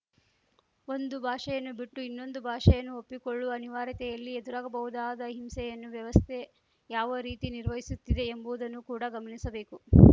ಒಂದು ಭಾಷೆಯನ್ನು ಬಿಟ್ಟು ಇನ್ನೊಂದು ಭಾಷೆಯನ್ನು ಒಪ್ಪಿಕೊಳ್ಳುವ ಅನಿವಾರ್ಯತೆಯಲ್ಲಿ ಎದುರಾಗಬಹುದಾದ ಹಿಂಸೆಯನ್ನು ವ್ಯವಸ್ಥೆ ಯಾವ ರೀತಿ ನಿರ್ವಹಿಸುತ್ತಿದೆ ಎಂಬುವುದನ್ನು ಕೂಡ ಗಮನಿಸಬೇಕು